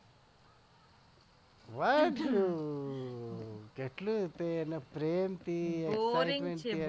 વાંદરું કેટલું તે એને પ્રેમ થી તું એને